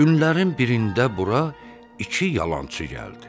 Günlərin birində bura iki yalançı gəldi.